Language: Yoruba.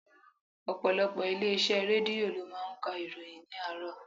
Ọ̀pọ̀lọpọ̀ ilé iṣẹ́ Rédíò lo máa ń ka ìròyìn ni àárọ̀.